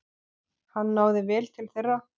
Hann náði vel til þeirra.